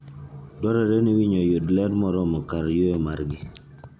Dwarore ni winy oyud ler moromo kar yueyo margi.